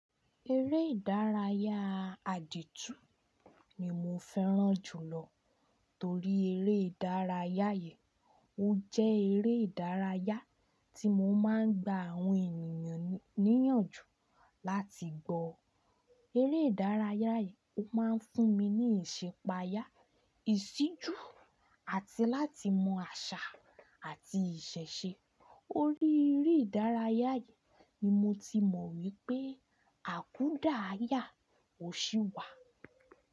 Eré ìdárayá àdìtú ni mo fẹ́ràn jùlọ torí eré ìdárayá yii, ó jẹ́ eré ìdárayá tí mo máa ń gba àwọn ènìyàn níyànjú láti gbọ́. Eré ìdárayá yìí ó máa ń fún mi ní ìṣipàyà, ìṣíjú àti láti mọ àṣà àti ìṣẹ̀ṣe. Orí eré ìdárayá yìí ni mo ti mọ̀ wípé àkúdàáyà ò sí wà.